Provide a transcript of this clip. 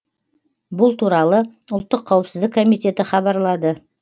бұл туралы ұлттық қауіпсіздік комитеті хабарлады